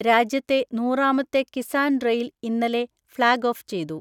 രാജ്യത്തെ നൂറാമത്തെ കിസാന് റെയില് ഇന്നലെ ഫളാഗ് ഓഫ് ചെയ്തു.